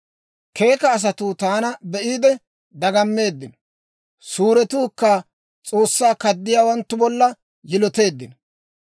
Keeka asatuu taana be'iide dagammeeddino; suuretuukka S'oossaa kaddiyaawanttu bolla yiloteeddino.